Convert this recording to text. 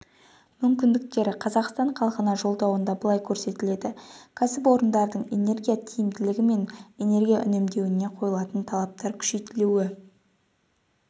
мүмкіндіктері қазақстан халқына жолдауында былай көрсетіледі кәсіпорындардың энергия тиімділігі мен энергия үнемдеуіне қойылатын талаптар күшейтілуі